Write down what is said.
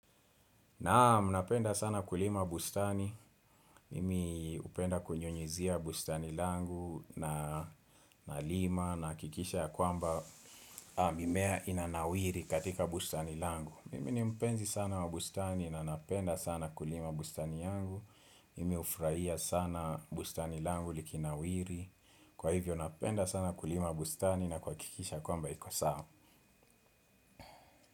Naam, napenda sana kulima bustani, mimi hupenda kunyunyuzia bustani langu nalima nahakikisha ya kwamba mimea inanawiri katika bustani langu. Mimi ni mpenzi sana wa bustani na napenda sana kulima bustani yangu, mimi hufurahia sana bustani langu likinawiri, kwa hivyo napenda sana kulima bustani na kuhakikisha kwamba iko sawa.